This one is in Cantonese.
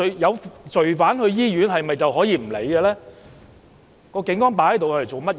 有罪犯到醫院，警察可以不予理會嗎？